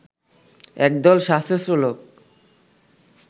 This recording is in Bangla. একদল সশস্ত্র লোক